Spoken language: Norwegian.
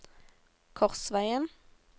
Korsvegen